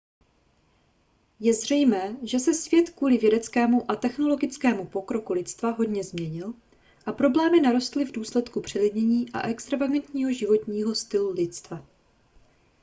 je zřejmé že se svět kvůli vědeckému a technologickému pokroku lidstva hodně změnil a problémy narostly v důsledku přelidnění a extravagantního životního stylu lidstva